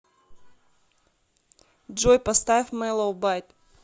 джой поставь мэллоубайт